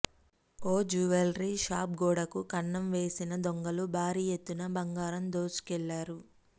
ఓ jewellery shop గోడకు కన్నం వేసిన దొంగలు భారీ ఎత్తున్న బంగారం దోచుకెళ్లారు